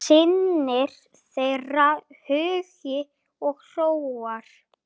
Synir þeirra Hugi og Hróar.